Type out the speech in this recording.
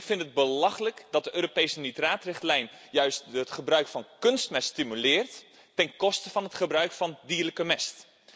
Ik vind het belachelijk dat de Europese nitraatrichtlijn juist het gebruik van kunstmest stimuleert ten koste van het gebruik van dierlijke mest.